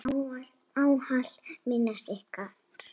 Við munum ávallt minnast ykkar.